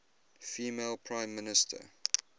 female prime minister